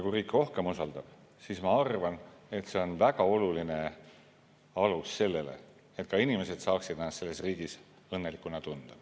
Kui riik rohkem usaldab, siis see on minu arvates väga oluline alus sellele, et inimesed saaksid ennast riigis õnnelikuna tunda.